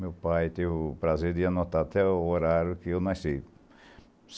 Meu pai teve o prazer de anotar até o horário que eu nasci.